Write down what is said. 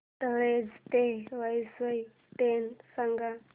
तळोजा ते वसई ट्रेन सांग